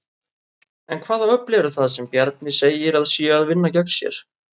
En hvaða öfl eru það sem Bjarni segir að séu að vinna gegn sér?